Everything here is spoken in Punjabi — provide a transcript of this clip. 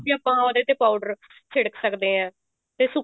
ਵੀ ਆਪਾਂ ਉਹਦੇ ਤੇ powder ਆਪਾਂ ਛਿੜਕ ਸਕਦੇ ਹਾਂ ਤੇ